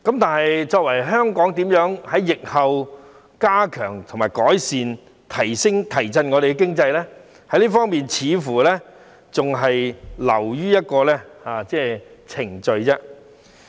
但是，香港如何在疫後改善及提振我們的經濟呢？這方面似乎還是流於一個程序。